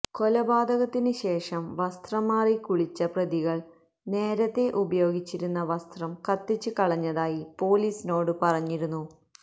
കൊലപാതകത്തിന് ശേഷം വസ്ത്രം മാറി കുളിച്ച പ്രതികള് നേരത്തെ ഉപയോഗിച്ചിരുന്ന വസ്ത്രം കത്തിച്ച് കളഞ്ഞതായി പൊലീസിനോട് പറഞ്ഞിരുന്നു